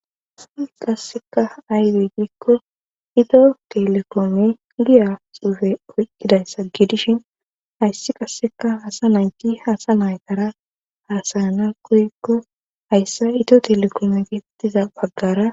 qasseka aybe giikko ito telekoome giya suufe oyqkidayssa giidishin hayssi qasseka hasa nayti hasa naytara haasayana koyikko hayssa ito telekoome gettiza baggara